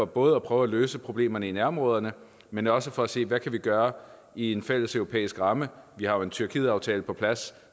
både at prøve at løse problemerne i nærområderne men også for at se hvad vi kan gøre i en fælles europæisk ramme vi har jo en tyrkietaftale på plads